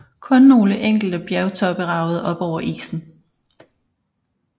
Kun nogle enkelte bjergtoppe ragede op over isen